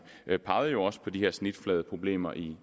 pegede jo også på de her snitfladeproblemer inden